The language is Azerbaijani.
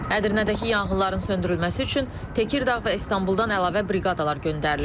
Ədirnədəki yanğınların söndürülməsi üçün Tekirdağ və İstanbuldan əlavə briqadalar göndərilib.